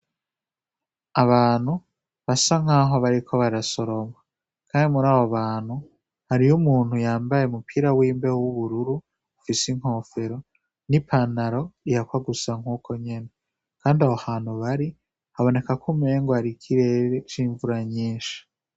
Abantu basa nk'aho bariko barasorombwa, kandi muri abo bantu hariyo umuntu yambaye mupira w'imbehe w'ubururu ofise inkofero n'i panaro ihakwa gusa nk'uko nyene, kandi abo hantu bari haboneka ko umenge ari ikirere c'imvura nyinshi.